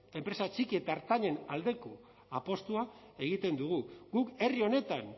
enpresa txiki eta ertainen aldeko apustua egiten dugu guk herri honetan